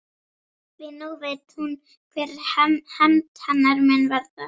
Því nú veit hún hver hefnd hennar mun verða.